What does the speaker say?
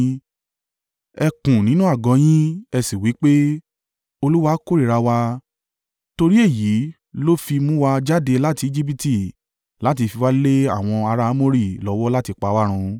Ẹ kùn nínú àgọ́ ọ yín, ẹ sì wí pé, “Olúwa kórìíra wa, torí èyí ló fi mú wa jáde láti Ejibiti láti fi wá lé àwọn ará Amori lọ́wọ́ láti pa wá run.